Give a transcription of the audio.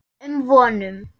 um vonum.